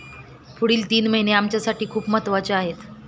पुढील तीन महिने आमच्यासाठी खूप महत्त्वपूर्ण आहेत.